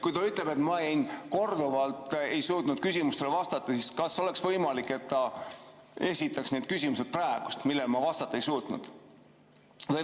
Kui ta ütleb, et ma korduvalt ei suutnud küsimustele vastata, siis kas oleks võimalik, et ta esitaks praegu need küsimused, millele ma vastata ei suutnud?